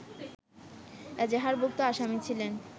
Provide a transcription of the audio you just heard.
এজাহারভুক্ত আসামি ছিলেন